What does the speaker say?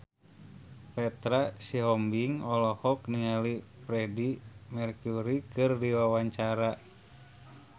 Petra Sihombing olohok ningali Freedie Mercury keur diwawancara